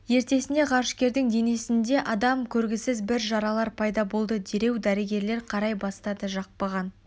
ертесіне ғарышкердің денесінде адам көргісіз бір жаралар пайда болды дереу дәрігерлер қарай бастады жақпаған